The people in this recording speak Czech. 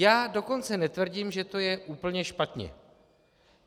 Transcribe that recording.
Já dokonce netvrdím, že to je úplně špatně.